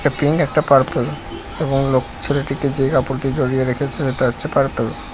একটা পিঙ একটা পার্পল এবং লো ছেলেটিকে যে কাপড় দিয়ে জড়িয়ে রেখেছে সেটা হচ্ছে পার্পল ।